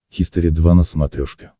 хистори два на смотрешке